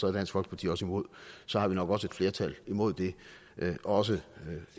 er dansk folkeparti også imod og så har vi nok også et flertal imod det også